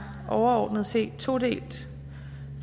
overordnet set todelt